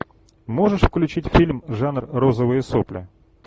можешь включить фильм жанр розовые сопли